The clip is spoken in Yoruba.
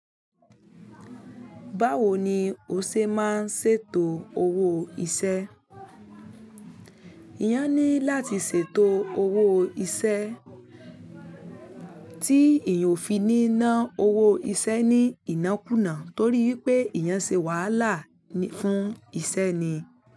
Báwo ni o ṣe máa ń ṣètò owó iṣẹ́? Eyan ní láti ṣètò owó iṣẹ́ tí eyan o fi ní ná owó iṣẹ́ ní inákùná torí wípé eyàn ṣe wàhálà fún iṣẹ́ ni.